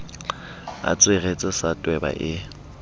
a tsweretse sa tweba e